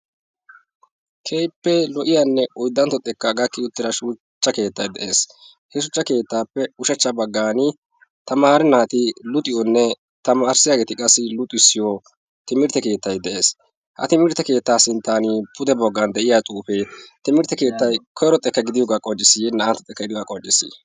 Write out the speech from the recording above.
Keehippe lo''iyanne oyddantto xekka gakki uttida shuchchay de'ees. he shuchcha keetttappe ushachcha baggan tamaare naati luxiyoone tamarissiyaage luxissiyaa keetta y de'ees. ha timirtte keettappe pude baggan de'iyaa xuufe timirtte keettay koyro xekka gidiyooga qonccisisye naa''antto xeekka gidiyoogaa qonccissi?